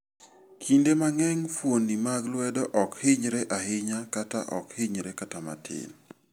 Kinde mang'eny, fuoni mag lwedo ok hinyre ahinya kata ok hinyre kata matin.